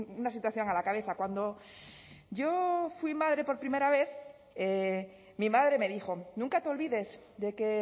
una situación a la cabeza cuando yo fui madre por primera vez mi madre me dijo nunca te olvides de que